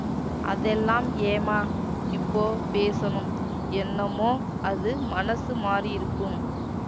அதெல்லாம் ஏம்மா இப்போ பேசணும் என்னமோ அது மனசு மாறியிருக்கும்